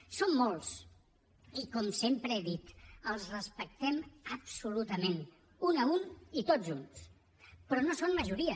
en són molts i com sempre he dit els respectem absolutament un a un i tots junts però no són majoria